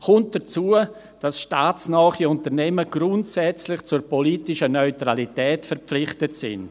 Hinzu kommt, dass staatsnahe Unternehmen grundsätzlich zur politischen Neutralität verpflichtet sind.